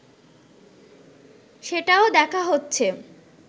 সেটাও দেখা হচ্ছে